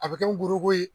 A bɛ kɛ n buruko ye